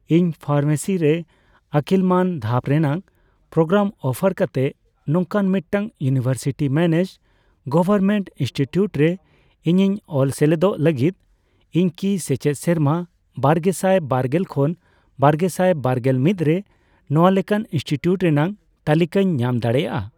ᱤᱧ ᱯᱷᱟᱨᱢᱮᱥᱤ ᱨᱮ ᱟᱹᱠᱤᱞ ᱢᱟᱱ ᱫᱷᱟᱯ ᱨᱮᱱᱟᱜ ᱯᱨᱳᱜᱨᱟᱢ ᱚᱯᱷᱟᱨ ᱠᱟᱛᱮ ᱱᱚᱝᱠᱟᱱ ᱢᱤᱫᱴᱟᱝ ᱤᱭᱩᱱᱤᱣᱮᱨᱥᱤᱴᱤ ᱢᱮᱱᱮᱡᱰᱼᱜᱚᱣᱚᱨᱢᱮᱱᱴ ᱤᱱᱥᱴᱤᱴᱤᱭᱩᱴ ᱨᱮ ᱤᱧᱤᱧ ᱚᱞ ᱥᱮᱞᱮᱫᱚᱜ ᱞᱟᱹᱜᱤᱫ, ᱤᱧ ᱠᱤ ᱥᱮᱪᱮᱫ ᱥᱮᱨᱢᱟ ᱵᱟᱨᱜᱮᱥᱟᱭ ᱵᱟᱨᱜᱮᱞ ᱠᱷᱚᱱ ᱵᱟᱨᱜᱮᱥᱟᱭ ᱵᱟᱨᱜᱮᱞ ᱢᱤᱛ ᱨᱮ ᱱᱚᱣᱟ ᱞᱮᱠᱟᱱ ᱤᱱᱥᱴᱤᱴᱤᱭᱩᱴ ᱨᱮᱱᱟᱜ ᱛᱟᱞᱤᱠᱟᱧ ᱧᱟᱢ ᱫᱟᱲᱮᱭᱟᱜᱼᱟ ?